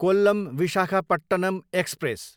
Kollam, Visakhapatnam express